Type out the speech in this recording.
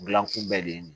Gilankun bɛɛ de ye